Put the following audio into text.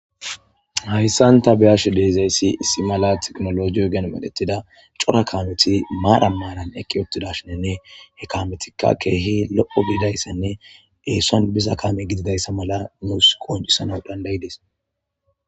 Haysan ta beyashe de'izaysi issimala tekinoloje ogen medhetida maran maran eqi uttidashin he kameti kehi lo'o gididaysane Epson biza kame gididaysa mala nusi qoncisana dandayadisi